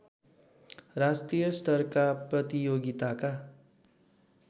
राष्ट्रिय स्तरका प्रतियोगिताका